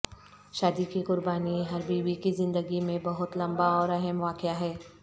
شادی کی قربانی ہر بیوی کی زندگی میں بہت لمبا اور اہم واقعہ ہے